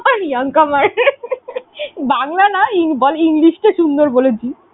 young comer বাংলা নয় বল english টা সুন্দর বলেছি।